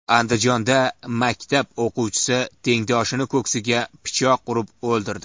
Andijonda maktab o‘quvchisi tengdoshini ko‘ksiga pichoq urib o‘ldirdi.